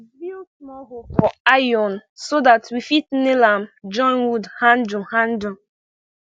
we dey drill small hole for iron so dat we fit nail am join wood handle handle